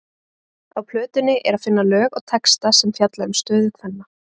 Á plötunni er að finna lög og texta sem fjalla um stöðu kvenna.